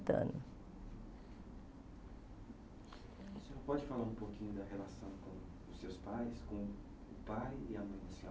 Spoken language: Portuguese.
pode falar um pouquinho da relação com os seus pais, com o pai e a mãe da senhora?